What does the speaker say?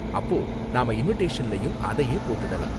அப்போ நாம இன்விடேஷன்லயும் அதையே போட்டுடலாம்.